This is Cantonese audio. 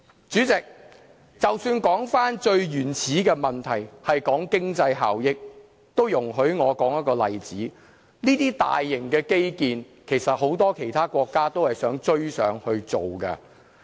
主席，即使說回最原始的問題，就是經濟效益，容許我說一個例子，其實很多國家都想追上建造這些大型基建。